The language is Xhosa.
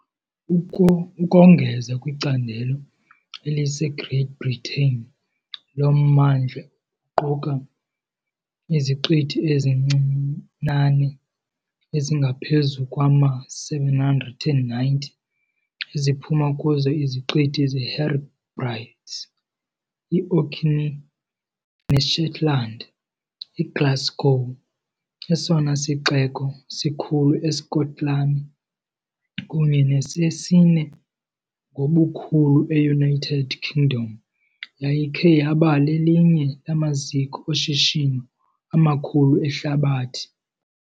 Ukongeza kwicandelo eliseGreat Britain, lo mmandla uquka iziqithi ezincinane ezingaphezu kwama-790, eziphuma kuzo iziqithi zeHebrides, iOrkneys neShetland. IGlasgow, esona sixeko sikhulu eSkotlani kunye nesesine ngobukhulu eUnited Kingdom, yayikhe yaba lelinye lamaziko oshishino amakhulu ehlabathi.